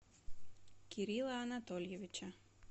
кирилла анатольевича